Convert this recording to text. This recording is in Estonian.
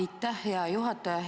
Aitäh, hea juhataja!